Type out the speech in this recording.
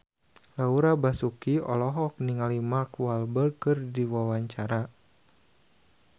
Laura Basuki olohok ningali Mark Walberg keur diwawancara